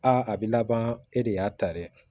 Aa a bɛ laban e de y'a ta dɛ